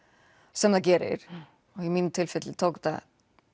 sem það gerir og í mínu tilfelli tók þetta